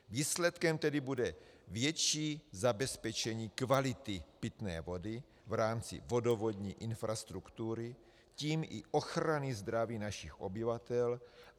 Výsledkem tedy bude větší zabezpečení kvality pitné vody v rámci vodovodní infrastruktury, tím i ochrany zdraví našich obyvatel.